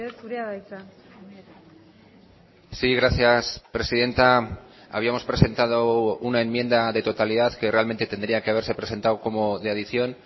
zurea da hitza sí gracias presidenta habíamos presentado una enmienda de totalidad que realmente tendría que haberse presentado como de adición